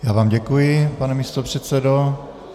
Já vám děkuji, pane místopředsedo.